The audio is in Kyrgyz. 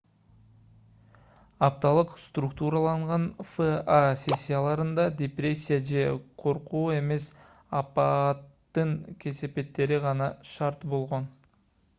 апталык структураланган фа сессияларында депрессия же коркуу эмес апааттын кесепеттери гана шарт болгон